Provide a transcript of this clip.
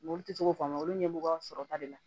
Olu tɛ se k'o faamuya olu ɲɛmɔgɔ sɔrɔta de la